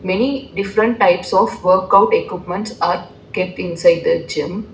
Many different types of workout equipments are kept inside the gym.